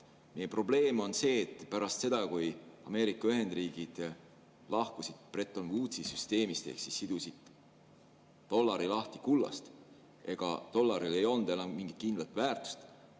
Meie probleem on see, et pärast seda, kui Ameerika Ühendriigid lahkusid Bretton Woodsi süsteemist ehk sidusid dollari lahti kullast, siis dollaril ei olnud enam mingit kindlat väärtust.